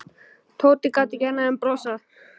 Tóti gat ekki annað en brosað.